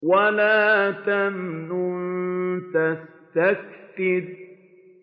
وَلَا تَمْنُن تَسْتَكْثِرُ